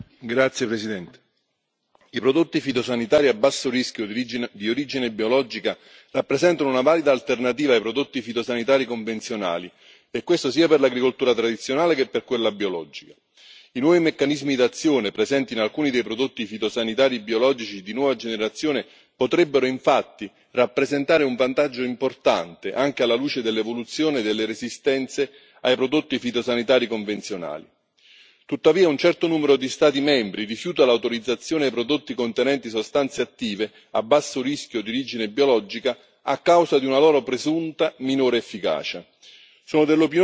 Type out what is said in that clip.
Signora Presidente, onorevoli colleghi, i prodotti fitosanitari a basso rischio, di origine biologica, rappresentano una valida alternativa ai prodotti fitosanitari convenzionali e questo sia per l'agricoltura tradizionale che per quella biologica. I nuovi meccanismi d'azione presenti in alcuni dei prodotti fitosanitari biologici di nuova generazione potrebbero infatti rappresentare un vantaggio importante, anche alla luce dell'evoluzione delle resistenze ai prodotti fitosanitari convenzionali. Tuttavia, un certo numero di Stati membri rifiuta l'autorizzazione ai prodotti contenenti sostanze attive a basso rischio di origine biologica a causa di una loro presunta minore efficacia.